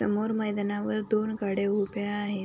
समोर मैदानावर दोन गाड्या उभ्या आहेत.